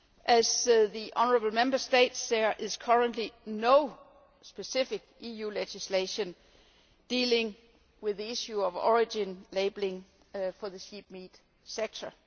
As the honourable Member states, there is currently no specific EU legislation dealing with the issue of origin labelling for the sheep meat sector.